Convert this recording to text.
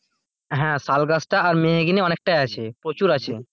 হ্যাঁ শাল গাছটা আর মেহগনি অনেকটাই আছে প্রচুর আছে.